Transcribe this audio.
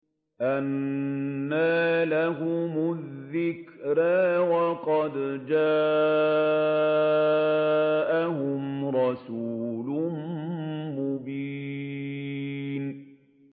أَنَّىٰ لَهُمُ الذِّكْرَىٰ وَقَدْ جَاءَهُمْ رَسُولٌ مُّبِينٌ